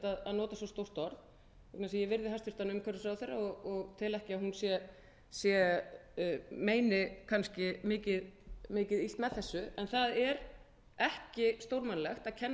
að nota svo stórt orð því ég virði hæstvirtur umhverfisráðherra og tel ekki að hún sé meini kannski mikið illt með þessu en það er ekki stórmannlegt að kenna